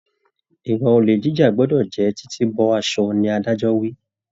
Ìwà olè jíjà gbọdọ jẹ titi bọ aṣọ ni adájọ wí.